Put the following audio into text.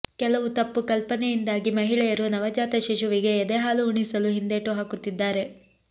ಕೆಲವು ತಪ್ಪು ಕಲ್ಪನೆಯಿಂದಾಗಿ ಮಹಿಳೆಯರು ನವಜಾತ ಶಿಶುವಿಗೆ ಎದೆಹಾಲು ಉಣಿಸಲು ಹಿಂದೇಟು ಹಾಕುತ್ತಿದ್ದಾರೆ